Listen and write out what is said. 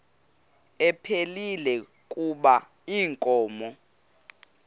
ephilile kuba inkomo